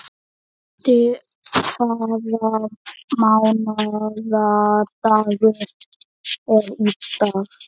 Skafti, hvaða mánaðardagur er í dag?